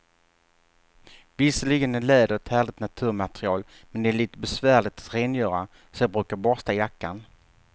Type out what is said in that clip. Visserligen är läder ett härligt naturmaterial, men det är lite besvärligt att rengöra, så jag brukar borsta jackan.